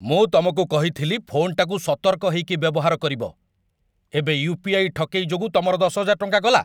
ମୁଁ ତମକୁ କହିଥିଲି ଫୋନ୍‌ଟାକୁ ସତର୍କ ହେଇକି ବ୍ୟବହାର କରିବ । ଏବେ ୟୁ.ପି.ଆଇ. ଠକେଇ ଯୋଗୁଁ ତମର ୧୦,୦୦୦ ଟଙ୍କା ଗଲା ।